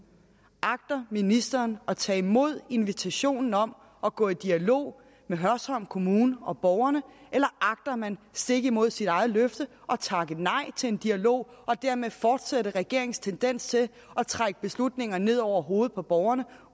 agter ministeren at tage imod invitationen om at gå i dialog med hørsholm kommune og borgerne eller agter man stik imod sit eget løfte at takke nej til en dialog og dermed fortsætte regeringens tendens til at trække beslutninger ned over hovedet på borgerne